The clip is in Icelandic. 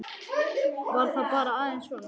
Var það bara aðeins svona?